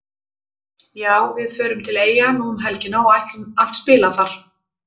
Já við förum til Eyja nú um helgina og ætlum að spila þar.